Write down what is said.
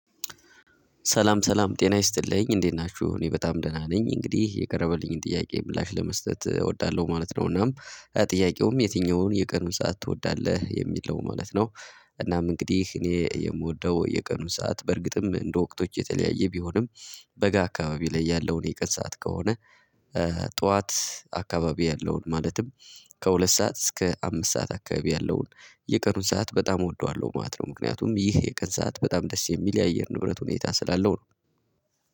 ሰላም ሰላም ጤና ይስጥልኝ እንዴት ናችሁ እኔ በጣም ደህና ነኝ እንግዲህ የቀረበልኝን ጥያቄ ምላሽ ለመስጠት እወዳለሁ ማለት ነው። እናም ጥያቄውም የትኛውን የቀኑን ሰዓት ትወዳለህ የሚለው ማለት ነው። እናም እንግዲህ እኔ የምወደው የቀኑን ሰዓት በእርግጥም እንደ ወቅቶች የተለያየ ቢሆንም። በጋ አካባቢ ላይ ያለውን የቀን ሰዓት ከሆነ። ጠዋት አካባቢ ያለውን ማለትም። ከሁለት ሰዓት እስከ አምስት ሰዓት አካባቢ ያለውን የቀኑን ሰዓት በጣም እወደዋለሁ ማለት ነው። ምክንያቱም ይህ የቀን ሰዓት በጣም ደስ የሚል የአየር ንብረት ሁኔታ ስላለው ነው